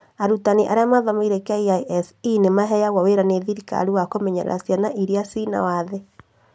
Arutani arĩa mathomeire KISE maheagwo wĩra nĩ thirikari wa kũmenyerera ciana iria ciĩ na wathe